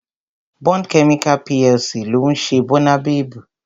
Bond Chemical PLC ló ń ṣe Bónabebu